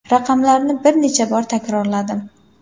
Raqamlarni bir necha bor takrorladim.